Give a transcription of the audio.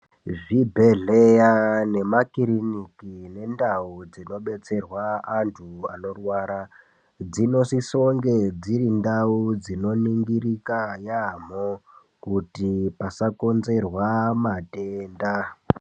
Zvibhedhleya nemakiriniki nendau dzinobetserwa antu anorwara dzinosisonge dziri ndau dzinoningirika yampho kuti pasakonzerwa matenda.